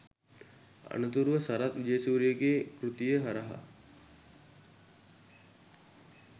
අනතුරුව සරත් විජේසූරියගේ කෘතිය හරහා